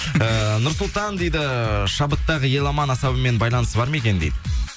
ыыы нұрсұлтан дейді шабыттағы еламан асабамен байланысы бар ма екен дейді